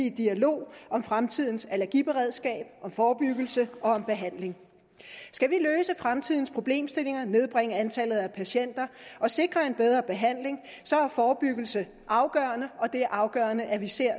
i dialog om fremtidens allergiberedskab om forebyggelse og om behandling skal vi løse fremtidens problemstillinger nedbringe antallet af patienter og sikre en bedre behandling er forebyggelse afgørende og det er afgørende at vi ser